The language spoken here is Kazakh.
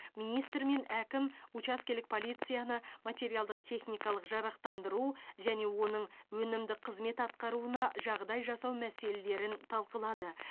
министр мен әкім учаскелік полицияны материалдық техникалық жарақтандыру және оның өнімді қызмет атқаруына жағдай жасау мәселелерін талқылады